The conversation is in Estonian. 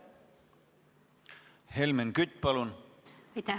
Helmen Kütt, palun!